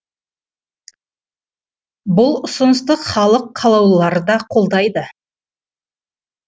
бұл ұсынысты халық қалаулылары да қолдайды